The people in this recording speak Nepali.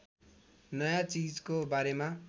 नयाँ चीजको बारेमा